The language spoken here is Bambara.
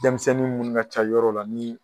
dɛmisɛnnin munnu ka ca yɔrɔ la ni